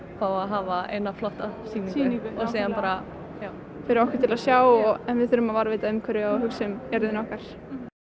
fá að hafa eina flotta sýningu fyrir okkur til að sjá en við þurfum að varðveita umhverfið og hugsa um jörðina okkar